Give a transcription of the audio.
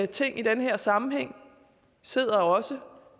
ting i den her sammenhæng og sidder også